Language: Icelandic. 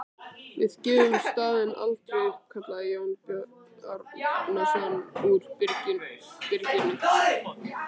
Við gefum staðinn aldrei upp, kallaði Jón Bjarnason úr byrginu.